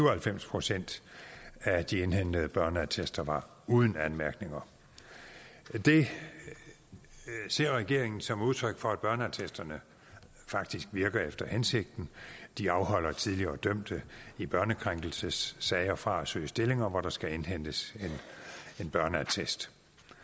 og halvfems procent af de indhentede børneattester var uden anmærkninger det ser regeringen som udtryk for at børneattesterne faktisk virker efter hensigten de afholder tidligere dømte i børnekrænkelsessager fra at søge stillinger hvor der skal indhentes en børneattest